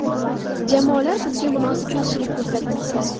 Jamoalar bizga munosib qarshilik ko‘rsatmoqda.